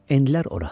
Endilər ora.